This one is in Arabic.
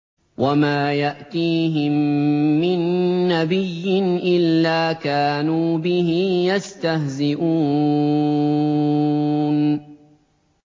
وَمَا يَأْتِيهِم مِّن نَّبِيٍّ إِلَّا كَانُوا بِهِ يَسْتَهْزِئُونَ